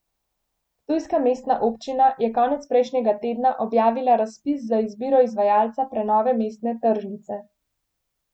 Ptujska mestna občina je konec prejšnjega tedna objavila razpis za izbiro izvajalca prenove mestne tržnice.